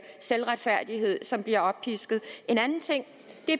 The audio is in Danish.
selvretfærdighed som bliver oppisket en anden ting